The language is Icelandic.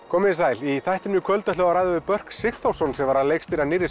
komið þið sæl í þættinum í kvöld ætlum við að ræða við Börk Sigþórsson sem var að leikstýra